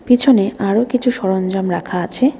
পিছনে আরো কিছু সরঞ্জাম রাখা আছে।